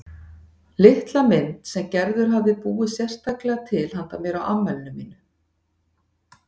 Litla mynd sem Gerður hafði búið sérstaklega til handa mér á afmælinu mínu.